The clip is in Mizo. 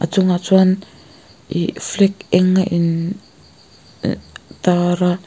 chungah chuan ih flag eng a in tar a.